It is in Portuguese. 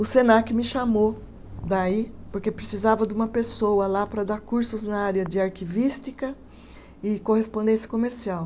O Senac me chamou daí porque precisava de uma pessoa lá para dar cursos na área de arquivística e correspondência comercial.